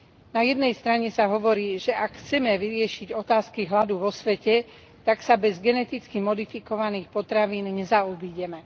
Na jednej strane sa hovorí, že ak chceme vyriešiť otázky hladu vo svete, tak sa bez geneticky modifikovaných potravín nezaobídeme.